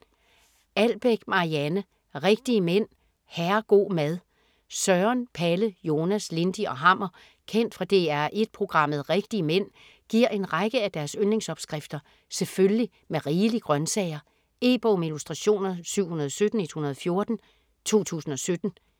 Albeck, Marianne: Rigtige mænd - herrego' mad Søren, Palle, Jonas, Lindy og Hammer kendt fra DR1 programmet "Rigtige mænd" giver en række af deres yndlingsopskrifter selvfølgelig med rigelige grøntsager. E-bog med illustrationer 717114 2017.